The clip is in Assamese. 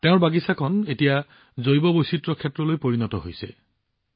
তেওঁৰ বাগিচাখন এতিয়া জৈৱ বৈচিত্ৰ্য মণ্ডলত পৰিণত হৈছে